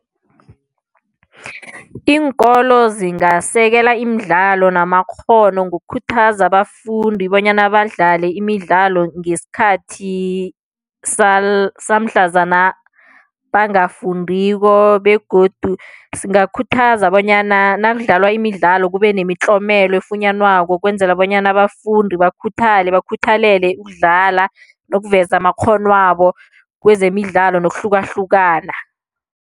Iinkolo zingasekela imidlalo namakghono ngokukhuthaza abafundi bonyana badlale imidlalo ngesikhathi samhlazana bangafundiko begodu singakhuthaza bonyana nakudlalwa imidlalo kube nemitlomelo efunyanwako ukwenzela bonyana abafundi bakhuthale, bakhuthalele ukudlala nokuveza amakghonwabo kwezemidlalo nokuhlukahlukana.